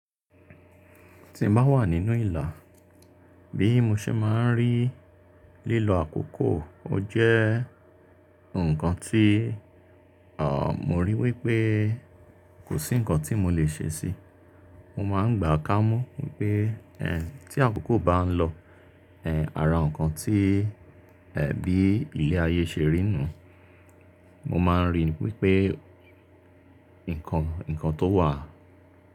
Tí mo bá wà nínú ìlà, bí mo ṣe máa ń rí lílo àkókò, ó jẹ́ nǹkan tí, à, mo rí wípé kò sí ǹkan tí mo lè ṣe sí, mo má ń gbà kámú pé, ẹ, tí àkókò bá ń lọ, ẹ, ara ǹkan tí, ẹ, bí ilé ayé ṣe rí nú, mo máa ń ríi wípé ǹkan, ǹkan tó wà.